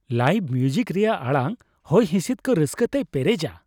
Live music ᱨᱮᱭᱟᱜ ᱟᱲᱟᱝ ᱦᱚᱭᱼᱦᱤᱥᱤᱫ ᱠᱚ ᱨᱟᱹᱥᱠᱟᱹᱛᱮᱭ ᱯᱮᱨᱮᱡᱟ ᱾